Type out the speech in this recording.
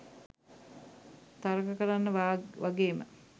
තරක කරන්න වගේම